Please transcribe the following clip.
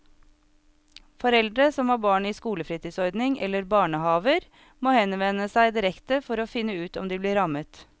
Foreldre som har barn i skolefritidsordning eller barnehaver må henvende seg direkte for å finne ut om de blir rammet.